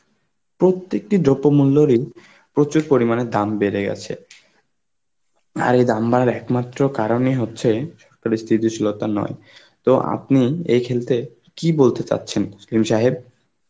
প্রত্যেকটি যত মূল্যরই প্রচুর পরিমাণে দাম বেড়ে গেছে. আর এই দাম বাড়ার একমাত্র কারণই হচ্ছে পরিস্থিতি শীলতা নয়, তো আপনি এই ক্ষেত্রে কি বলতে চাচ্ছেন তসলিম সাহেব?